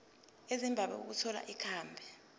ezimbabwe ukuthola ikhambi